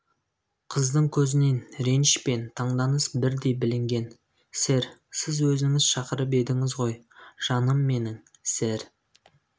қыздың көзінен реніш пен таңданыс бірдей білінген сэр сіз өзіңіз шақырып едіңіз ғой жаным менің сэр